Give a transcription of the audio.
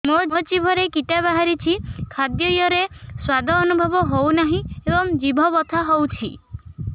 ମୋ ଜିଭରେ କିଟା ବାହାରିଛି ଖାଦ୍ଯୟରେ ସ୍ୱାଦ ଅନୁଭବ ହଉନାହିଁ ଏବଂ ଜିଭ ବଥା ହଉଛି